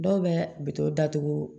Dɔw bɛ bito datugu